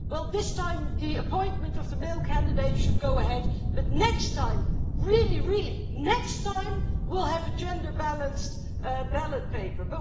this time the appointment of the male candidates should go ahead, but next time really, really next time we'll have a gender-balanced ballot paper'.